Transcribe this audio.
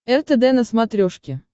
ртд на смотрешке